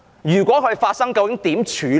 如果發生後應如何處理？